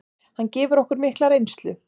Hann gefur okkur mikla reynslu.